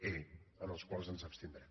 e en els quals ens abstindrem